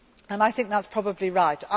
life. I think that is probably